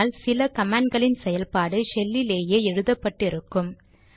ஆனால் சில கமாண்ட் களின் செயல்பாடு ஷெல்லிலேயே எழுதப்பட்டு இருக்கும்